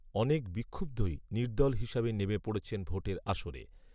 অনেক বিক্ষুব্ধই নির্দল হিসাবে নেমে পড়েছেন ভোটের আসরে